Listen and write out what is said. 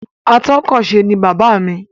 Atọ́kọ̀se ni bàbáà mi.